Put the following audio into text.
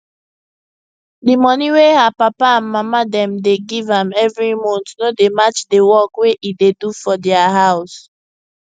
de monie wey her papa and mama dem dey give am every month no dey match de work wey e dey do for dia house